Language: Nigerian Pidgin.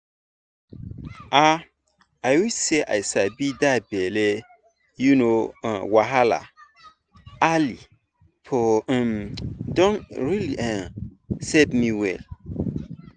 ah i wish say i sabi that belly um wahala early for um don um save me well well